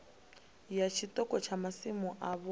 ya tshiṱoko tsha masimu avho